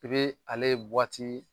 Ibe ale